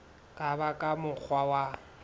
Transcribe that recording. ka ba ka mokgwa wa